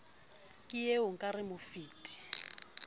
ee o ka re mopheti